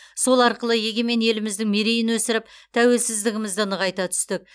сол арқылы егемен еліміздің мерейін өсіріп тәуелсіздігімізді нығайта түстік